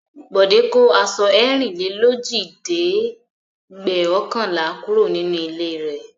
Bọ̀dé kó aṣọ ẹ̀rìnlélójìlẹ́ẹ̀dẹ́gbẹ̀ọ̀kànlá kúrò nínú ilé rẹ̀.